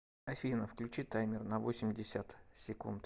афина включи таймер на восемьдесят секунд